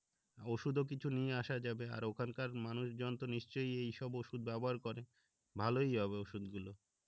ওষুধও কিছু নিয়ে আসা যাবে আর ওখানকার মানুষজন তো নিশ্চয়ই এইসব ওষুধ ব্যাবহার করে, ভালোই হবে ওষুধ গুলো